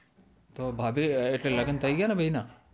તો ભાભી હવે તો લગન થઈ ગયા ને બેય ના